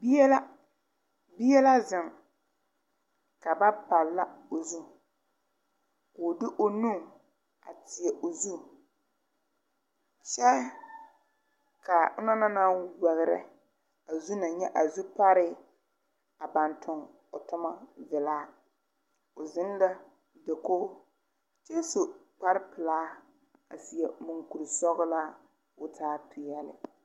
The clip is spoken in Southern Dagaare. Bie la bie la zeŋ ka ba palla o zu koo de o nu a tēɛ o zu kyɛ kaa onong na naŋ wɛgrɛ a zu na nyɛ a zupare a baŋ tong o tomma vilaa o zeŋ la dakoge kyɛ su kparepilaa a seɛ munkuresɔglaa ko taa peɛɛli.